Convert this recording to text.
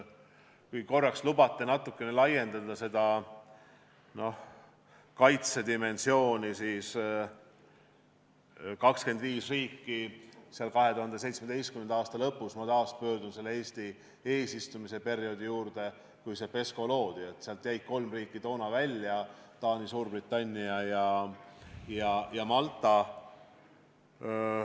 Kui te lubate natukene laiendada seda kaitsedimensiooni, siis 2017. aasta lõpus , kui PESCO loodi, jäid 25 riigi hulgast välja kolm riiki: Taani, Suurbritannia ja Malta.